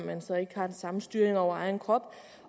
man så ikke har den samme styring over egen krop